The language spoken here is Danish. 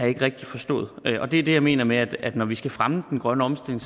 ikke rigtig forstået det er det jeg mener med at når vi skal fremme den grønne omstilling